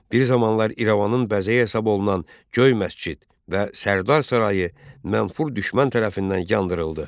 Bir zamanlar İrəvanın bəzəyi hesab olunan Göy məscid və Sərdar sarayı mənfur düşmən tərəfindən yandırıldı.